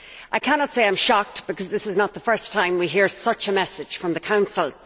I cannot say I am shocked, because this is not the first time we have heard such a message from the Council.